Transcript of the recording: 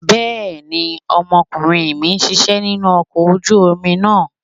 Bẹ́ẹ̀ni, ọmọkùnrin mi ń ṣisẹ́ nínú ọkọ̀ ojú omi náà.